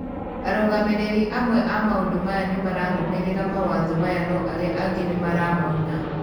Arũgamĩrĩri amwe a maũndũ maya nĩmararũmĩrĩra mawatho maya no arĩa angĩ nĩ maramauna.